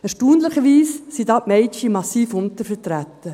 Erstaunlicherweise sind da die Mädchen massiv untervertreten.